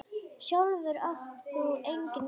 Sjálfur átt þú engin börn.